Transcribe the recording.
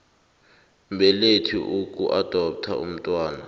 mbelethi ukuadoptha umntwana